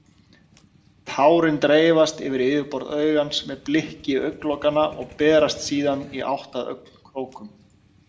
Tárin dreifast yfir yfirborð augans með blikki augnlokanna og berast síðan í átt að augnkrókum.